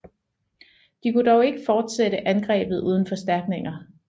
De kunne dog ikke fortsætte angrebet uden forstærkninger